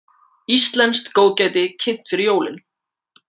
Íslenskt góðgæti kynnt fyrir jólin